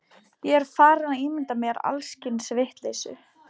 Ég er farinn að ímynda mér alls kyns vitleysu.